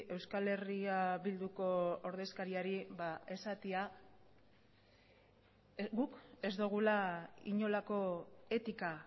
euskal herria bilduko ordezkariari esatea guk ez dugula inolako etika